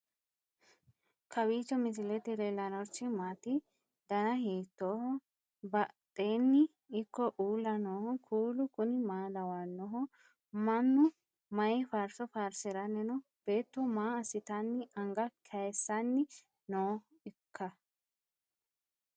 kowiicho misilete leellanorichi maati ? dana hiittooho ?abadhhenni ikko uulla noohu kuulu kuni maa lawannoho? mannu mayi faarso faarsiranni no beetto maa assitanni anga kaysanni nooikka